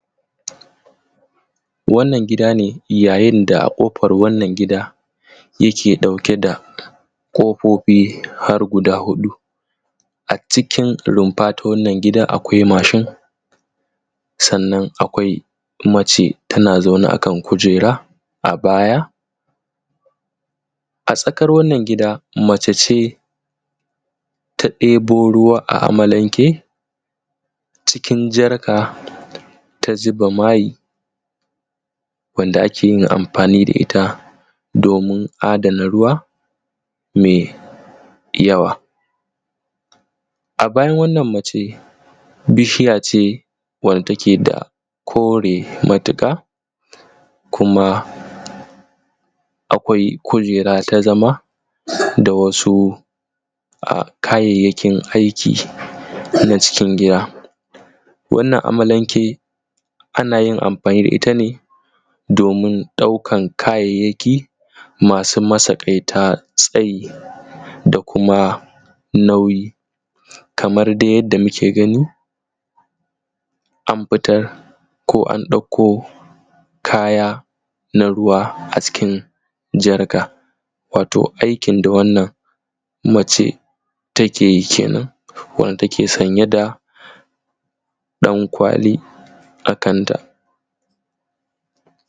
wannan gida ne yayin da a kofar wannan gida yake dauke da kofofi har guda hudu, cikin rumfa ta wannan gida akwai mashin sannan akwai mace tana zaune akan kujera a baya a tsakar wannan gida mace ce ta debo ruwa a amalanke cikin jarka ta zuba mai wanda akeyin amfani da itta domin a dana ruwa me yawa. a bayan wannan macen bishiya ce wanda ta keda kore matuka kuma akwai kujera ta zama da wasu kayayyakin aiki na cikin gida. wannan amalanke anayin amfani da itta ne domin daukan kayayyaki masu matsakaita tsayi da kuma nauyi kamar dai yadda muke gani amfitar ko an dauko kaya na ruwa a cikin jarka wato aikin da wannan mace takeyi kenan wanda take sanye da dan kwali a kanta